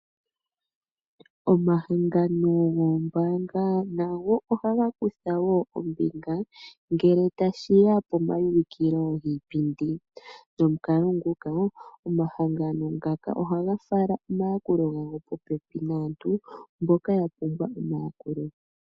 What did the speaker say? Omahangano goombaanga nago ohaga kutha wo ombinga ngele tashiya pomaulikilo giipindi, nomukalo nguka omahangano ngaka ohaga fala omayakulo gawo po pepi naantu mboka ya pumbwa omayakulo.